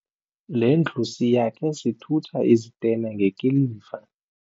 Le ndlu siyakhe sithutha izitena ngekiliva.